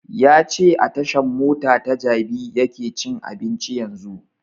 Ya ce a tashan mota ta jabi yake cin abinci yanzun